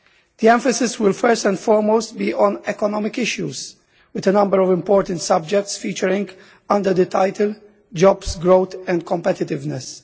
The emphasis will be, first and foremost, on economic issues with a number of important subjects featuring under the title Jobs, Growth and Competitiveness.